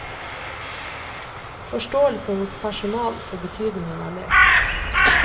Forståelse hos personal for betydningen av lek.